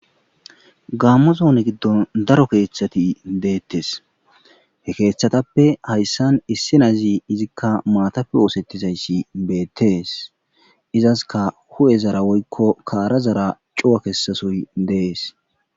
Gaammo zoone giddon daro keeththati deettes he keeththatappe hayssan issi nazi izikka maatappe woosettizayssi beettees izaska hu7e zara woykko kaara zara cuwa kessasoy dees.